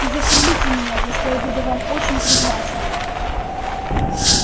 и застрелите меня за что я буду вам очень признателен